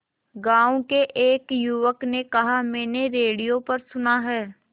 गांव के एक युवक ने कहा मैंने रेडियो पर सुना है